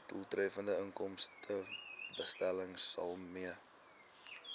doeltreffende inkomstebelastingstelsel mee